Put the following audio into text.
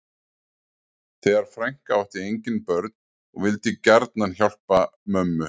Þessi frænka átti engin börn og vildi gjarnan hjálpa mömmu